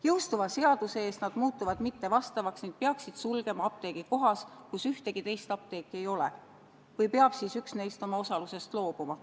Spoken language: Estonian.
Jõustuva seaduse ees nad muutuvad mittevastavaks ning peaksid sulgema apteegi kohas, kus ühtegi teist apteeki ei ole, või peab siis üks neist oma osalusest loobuma.